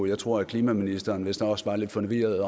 jeg tror at klimaministeren vist også var lidt forvirret